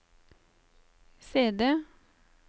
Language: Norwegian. CD